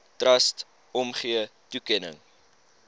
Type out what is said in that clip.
trust omgee toekenning